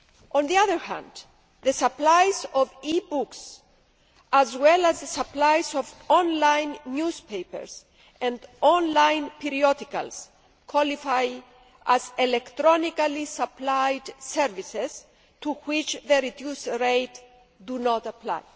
On the other hand, supplies of e books, as well as supplies of online newspapers and online periodicals, qualify as electronically supplied services, to which the reduced rates do not apply.